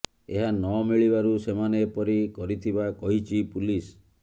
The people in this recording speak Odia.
ଏହା ନ ମିଳିବାରୁ ସେମାନେ ଏପରି କରିଥିବା କହିଛି ପୁଲିସ